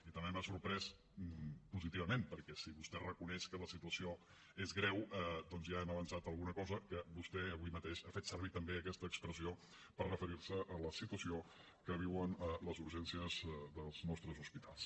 i també m’ha sorprès positivament perquè si vostè reconeix que la situació és greu doncs ja hem avançat alguna cosa que vostè avui mateix ha fet servir també aquesta expressió per referir se a la situació que viuen les urgències dels nostres hospitals